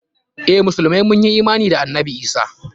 Eh, musulmai mun yi imana da annabi Isah.